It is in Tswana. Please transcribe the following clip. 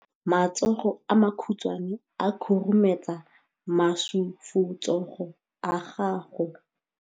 Matsogo a makhutshwane a khurumetsa masufutsogo a gago.